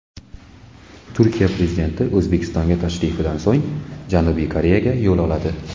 Turkiya prezidenti O‘zbekistonga tashrifidan so‘ng Janubiy Koreyaga yo‘l oladi.